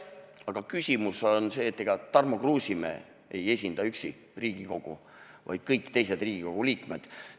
Aga küsimus on selles, et ega Tarmo Kruusimäe ei esinda üksi Riigikogu, vaid kõik Riigikogu liikmed.